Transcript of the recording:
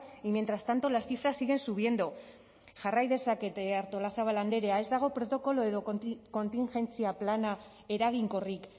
y mientras tanto las cifras siguen subiendo jarrai dezakete artolazabal andrea ez dago protokolo edo kontingentzia plana eraginkorrik